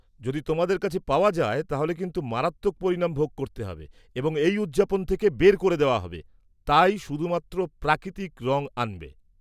-যদি তোমাদের কাছে পাওয়া যায় তাহলে কিন্তু মারাত্মক পরিণাম ভোগ করতে হবে এবং এই উদযাপন থেকে বের করে দেওয়া হবে, তাই শুধুমাত্র প্রাকৃতিক রং আনবে।